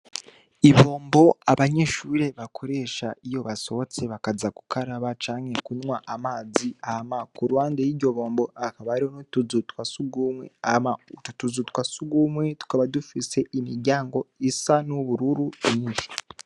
Ibombo abanyeshure bakoresha, iyo basohotse bakaza gukaraba canke kunywa amazi, hama kuruhande y'iryo bombo hakaba hariho utuzu twa surwumwe. Hama utwo tuzu twa surwumwe tukaba dufise imiryango isa n'ubururu nyishi.